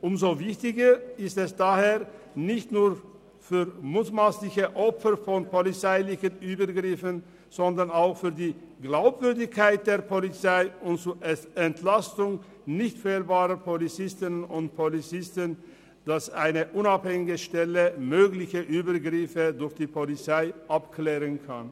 Umso wichtiger ist es daher, nicht nur für mutmassliche Opfer von polizeilichen Übergriffen, sondern auch für die Glaubwürdigkeit der Polizei und zur Entlastung nicht fehlbarer Polizistinnen und Polizisten, dass eine unabhängige Stelle mögliche Übergriffe durch die Polizei abklären kann.